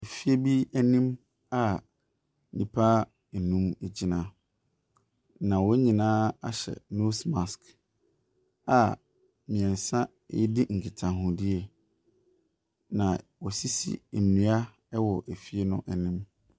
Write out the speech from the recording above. Efie bi anim a nnipa nnum gyina, Na wɔn nyinaa ahyɛ nose mask a mmiɛnsa redi nkitahodie. Na wɔasisi nnua wɔ efie n’anim.